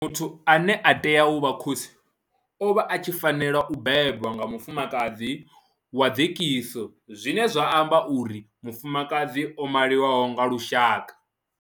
Muthu ane a tea u vha khosi o vha a tshi fanela u bebwa nga mufumakadzi wa dzekiso zwine zwa amba uri mufumakadzi o maliwaho nga lushaka.